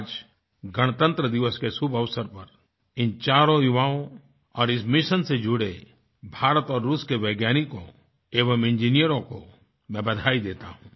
आज गणतंत्र दिवस के शुभअवसर पर इन चारों युवाओं और इस मिशन से जुड़े भारत और रूस के वैज्ञानिकों एवं इंजीनियरों को मैं बधाई देता हूँ